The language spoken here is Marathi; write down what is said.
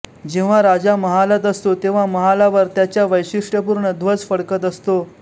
जेव्हा राजा महालात असतो तेव्हा महालावर त्याच्या वैशिष्ट्यपूर्ण ध्वज फडकत असतो